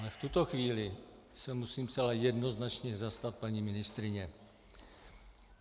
Ale v tuto chvíli se musím zcela jednoznačně zastat paní ministryně.